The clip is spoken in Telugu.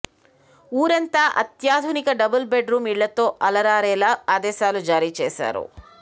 ఊరంతా అత్యాధునిక డబుల్ బెడ్ రూం ఇళ్లతో అలరారేలా ఆదేశాలు జారీ చేశారు